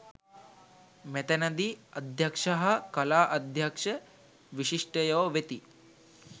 මෙතැනදී අධ්‍යක්ෂ හා කලා අධ්‍යක්ෂ විශිෂ්ටයෝ වෙති.